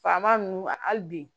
Faama ninnu hali bi